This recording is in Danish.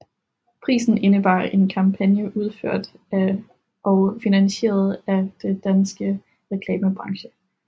Prisen indebar en kampagne udført og finansieret af den danske reklamebranchen